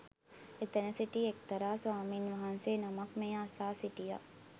එතැන සිටි එක්තරා ස්වාමීන් වහන්සේ නමක් මෙය අසා සිටියා